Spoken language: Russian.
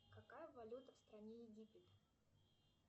какая валюта в стране египет